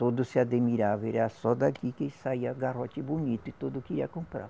Todos se admiravam, e era só daqui que saía garrote bonito e todos queriam comprar.